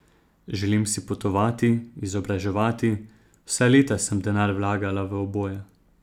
Želim si potovati, izobraževati, vsa leta sem denar vlagala v oboje.